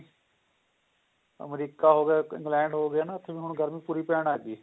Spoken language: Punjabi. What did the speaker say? ਅਮਰੀਕਾ ਹੋ ਗਿਆ ਇੰਗਲੈਂਡ ਹੋ ਗਿਆ ਨਾ ਉੱਥੇ ਵੀ ਹੁਣ ਗਰਮੀ ਪੂਰੀ ਪੈਣ ਲੱਗ ਗਈ